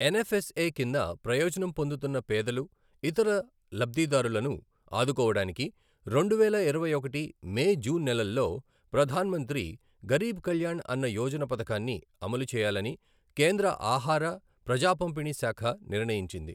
NFSA కింద ప్రయోజనం పొందుతున్న పేదలు, ఇతర లబ్ధిదారులను ఆదుకోవడానికి రెండువేల ఇరవై ఒకటి మే, జూన్ నెలల్లో ప్రధాన్ మంత్రి గరీబ్ కల్యాణ్ అన్న యోజన పథకాన్ని అమలు చేయాలని కేంద్ర ఆహార, ప్రజాపంపిణీ శాఖ నిర్ణయించింది.